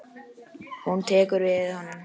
Hún tekur við honum.